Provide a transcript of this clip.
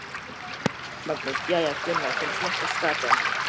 Magnús: Jæja Gunnar, hvernig smakkast skatan?